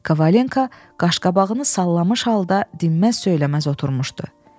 Kavalento qaşqabağını sallamış halda dinməz söyləməz oturmuşdu.